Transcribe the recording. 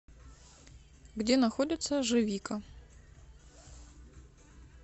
где находится живика